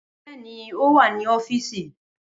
Bẹẹni o wa ni ọfiisi